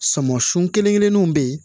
Sɔmɔsun kelen kelenninw bɛ yen